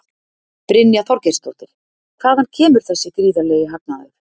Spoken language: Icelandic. Brynja Þorgeirsdóttir: Hvaðan kemur þessi gríðarlegi hagnaður?